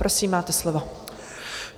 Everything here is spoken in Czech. Prosím, máte slovo.